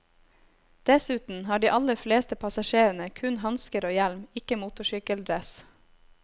Dessuten har de aller fleste passasjerene kun hansker og hjelm, ikke motorsykkeldress.